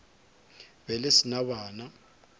be le se na bana